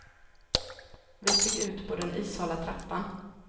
Vi steg ut på den ishala trappan.